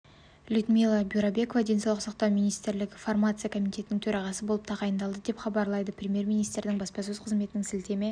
людмила бюрабекова денсаулық сақатау министрлігі фармация комитетінің төрағасы болып тағайындалды деп хабарлайды премьер-министрінің баспасөз қызметіне сілтеме